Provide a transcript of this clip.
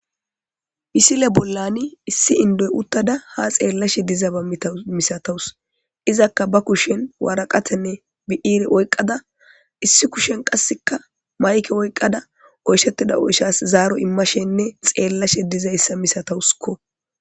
pisile bollani issi indoy uttada ha xeellashe diza ba tamisatawus izakka ba kushen waaraqatenne bi7ire oyqada issi kushen qasseka mayke oyqqada oyshettida oyshas zaaro immashenne xeellashe dizayssa misatawuskko